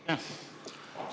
Aitäh!